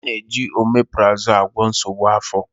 A na-eji oméprazolú agwọ nsogbu afọ.